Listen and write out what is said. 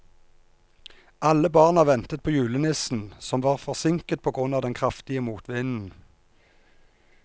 Alle barna ventet på julenissen, som var forsinket på grunn av den kraftige motvinden.